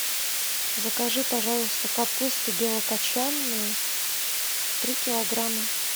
закажи пожалуйста капусту белокочанную три килограмма